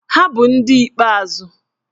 Ha bụ ndị ikpeazụ